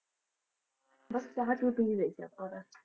ਬਸ ਚਾਹ ਚੂਹ ਪੀ ਰਹੇ ਸੀ ਆਪਾਂ ਤਾਂ।